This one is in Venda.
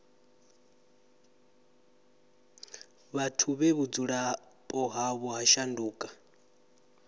vhathu vhe vhudzulapo havho ha shanduka